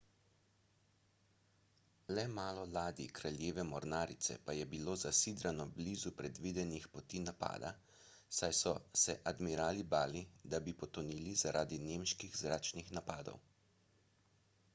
le malo ladij kraljeve mornarice pa je bilo zasidrano blizu predvidenih poti napada saj so se admirali bali da bi potonili zaradi nemških zračnih napadov